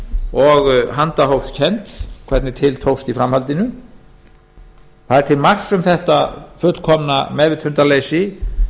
og handahófskennt hvernig til tókst í framhaldinu það er til marks um þetta fullkomna meðvitundarleysi